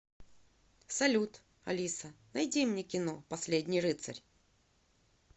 салют алиса найди мне кино последний рыцарь